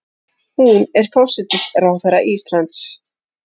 Hún er forsætisráðherra Íslands.